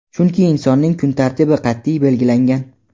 chunki insonning kun tartibi qat’iy belgilangan.